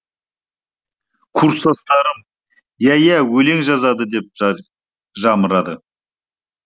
курстастарым иә иә өлең жазады деп жамырады